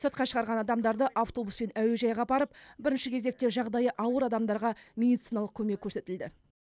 сыртқа шығарған адамдарды автобуспен әуежайға апарып бірінші кезекте жағдайы ауыр адамдарға медициналық көмек көрсетілді